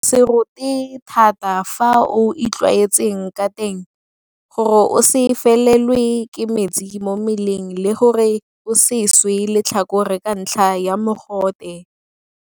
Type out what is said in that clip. Go se rote thata ka fao o itlwaetseng ka teng. Gore o se felelwe ke metsi mo mmeleng le gore o se swe letlhakore ka ntlha ya mogote.